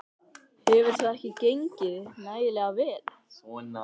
Berghildur: Hverju?